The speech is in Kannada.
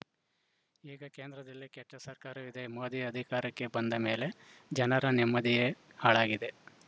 ಈಗ ಕೇಂದ್ರದಲ್ಲಿ ಕೆಟ್ಟಸರ್ಕಾರವಿದೆ ಮೋದಿ ಅಧಿಕಾರಕ್ಕೆ ಬಂದ ಮೇಲೆ ಜನರ ನೆಮ್ಮದಿಯೇ ಹಾಳಾಗಿದೆ